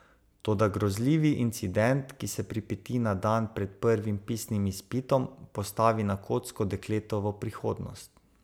Toda grozljivi incident, ki se pripeti na dan pred prvim pisnim izpitom, postavi na kocko dekletovo prihodnost.